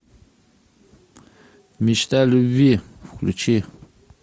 мечта любви включи